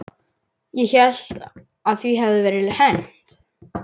Ég hélt að því hefði verið hent.